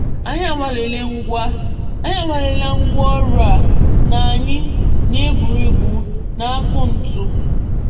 Anyị awalela ngwá Anyị awalela ngwá ọrụ a na anyị na egwuregwu na akaụntụ.